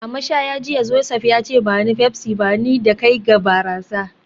A mashaya jiya, Joseph ya ce; ba ni Pepsi, ba ni da kai ga barasa